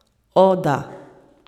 O, da.